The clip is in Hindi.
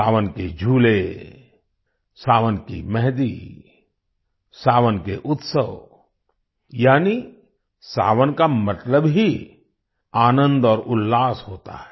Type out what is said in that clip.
सावन के झूले सावन की मेहँदी सावन के उत्सव यानि सावन का मतलब ही आनंद और उल्लास होता है